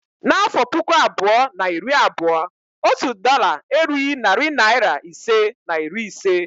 N'afọ puku abụọ na iri abụọ, otu dọla erughi narị naịra ise na iri ise